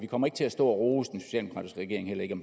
kommer til at stå og rose